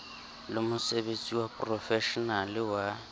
le mosebetsi wa profeshenale wa